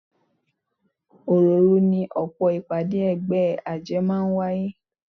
Òròòru ni ọ̀pọ̀ ìpàdé ẹgbẹ́ àjẹ́ máa ń wáyé